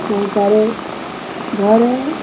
बहुत सारे घर हैं।